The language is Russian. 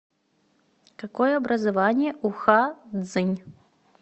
какое образование у ха цзинь